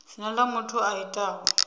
dzina ḽa muthu a itaho